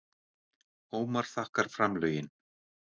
Ómar þakkar framlögin